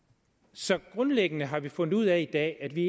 så grundlæggende har vi fundet ud af i dag at vi